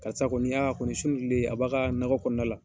Karisa kɔni a kɔni sun wililen a b'a ka nakɔkɔnɔ na la